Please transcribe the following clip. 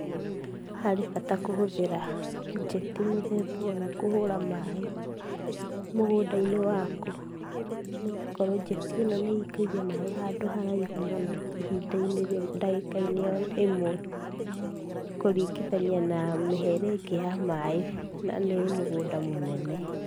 Harĩ bata kũhũthĩra njeti mũthemba ũyũ kũhũra maĩ mũgũnda-inĩ waku, nĩgũkorwo njeti ĩno nĩ ĩikagia maĩ handũ haraihu mũno ihinda-inĩ, ndagĩka-inĩ oro-ĩmwe, kũringithania na mĩhere ĩngĩ ya maĩ na nĩ mũgũnda mũnene.